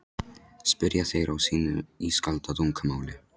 spyrja þeir á sínu ískalda tungumáli.